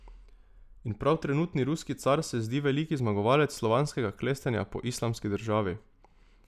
In prav trenutni ruski Car se zdi veliki zmagovalec slovanskega klestenja po Islamski državi.